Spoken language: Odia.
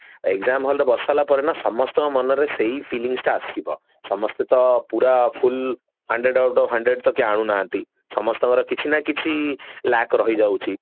exam hall ରେ ବସି ସରିଲା ପରେ ନା ସମସ୍ତଙ୍କ ମନରେ ସେଇ feelings ଟା ଆସିବ ସମସ୍ତେ ତ ପୁରା full hundred out of hundred ତ କେହି ଆଣୁ ନାହାନ୍ତି ସମସ୍ତଙ୍କର କିଛି ନା କିଛି lack ରହିଯାଉଛି